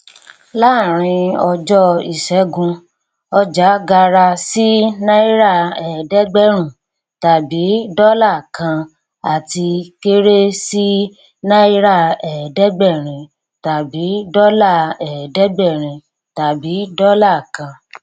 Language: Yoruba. láàárín ọjọ ìṣẹgun ọjà gara sí náírà ẹẹdẹgbẹrun tàbí dọlà kan àti kéré sí náírà ẹẹdẹgbẹrín tàbí dọlà ẹẹdẹgbẹrín tàbí dọlà kan